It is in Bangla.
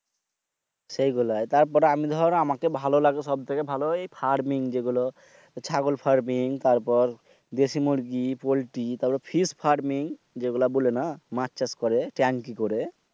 সেইগুলাই তারপর আমি দর ভালো লাগে সব থেকে ভালো লাগে থার্মিং যে গুলো ছাগল ফার্মিং তারপর দেশি মুরগী, পল্টি তারপর fish ফার্মিং এগুলা বলে না মাছ করে ট্রেংকি করে।